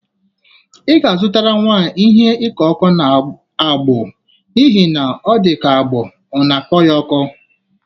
Ị ga-azụtara nwa a ihe ịkọ ọkụ n'agbụ n'ihi na ọ dịka agbụ ọ na-akọ ya ọkọ.